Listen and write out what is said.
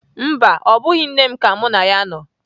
Mba, ọ bụghị nne m ka mụ na ya nọ.